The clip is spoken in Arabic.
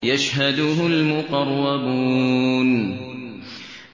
يَشْهَدُهُ الْمُقَرَّبُونَ